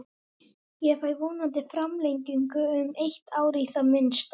Ég fæ vonandi framlengingu um eitt ár í það minnsta.